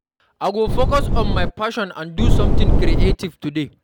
I go focus on my passions and do something creative today.